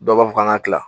Dɔw b'a fɔ k'an ka tila